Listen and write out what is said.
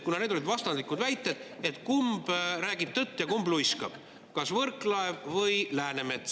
Kuna olid vastandlikud väited, kumb räägib tõtt ja kumb luiskab, kas Võrklaev või Läänemets.